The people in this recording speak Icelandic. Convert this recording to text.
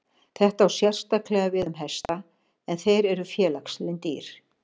Þetta á sérstaklega við um hesta en þeir eru félagslynd dýr.